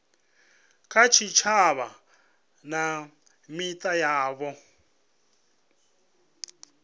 kha tshitshavha na mita yavho